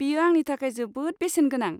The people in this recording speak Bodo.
बेयो आंनि थाखाय जोबोद बेसेन गोनां।